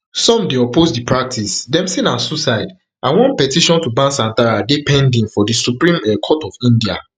some dey oppose di practice dem say na suicide and one petition to ban santhara dey pending for di supreme um court of india